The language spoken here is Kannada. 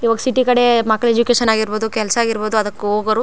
ಇವಾಗ ಸಿಟಿ ಕಡೆ ಮಕ್ಕಳ್ ಎಜುಕೇಶನ್ ಆಗಿರಬಹುದು ಕೆಲ್ಸ ಆಗಿರಬಹುದು ಅದಕ್ ಹೋಗೋರು --